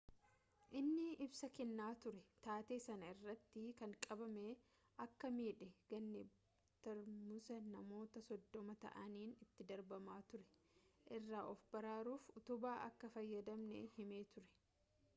inni ibsa kennaa ture taatee sana irratti kan qabame akka miidhe ganee tarmuusa namoota soddoma ta'aniin itti darbamaa ture irraa of baraaruuf utubaa akka fayyadamee himee ture